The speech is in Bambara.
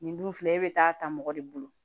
Nin dun filɛ e bɛ taa ta mɔgɔ de bolo